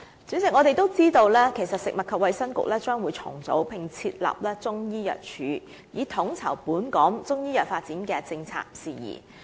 主席，我們也知道食物及衞生局將會重組，並設立中醫藥處以統籌本港中醫藥發展的政策事宜。